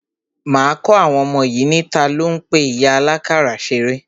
Máa kọ́ àwọn ọmọ yìí ní, talo ń pe ìyá àlákàrà ṣeré?